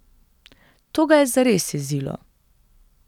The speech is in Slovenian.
To ga je zares jezilo.